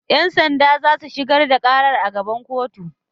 Yan sanda za su shigar da karar a gaban kotu